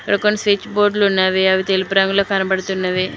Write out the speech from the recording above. ప్రక్కన స్విచబోర్డులు ఉన్నవి అవి తెలుపు రంగులో కనబడుతున్నవి.